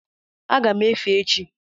Aga m efe echi